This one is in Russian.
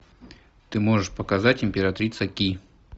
ты можешь показать императрица ки